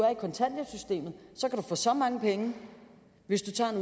få så mange penge hvis du tager